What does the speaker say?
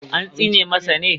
An tsine masa ne?